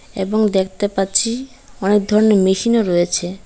এবং দেখতে পাচ্ছি অনেক ধরনের মেশিনও রয়েছে।